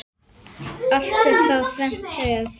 Allt er þá þrennt er.